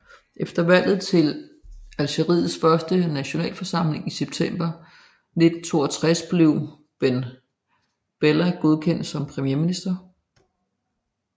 Efter valget til Algeriets første nationalforsamling i september 1962 blev Ben Bella godkendt som premierminister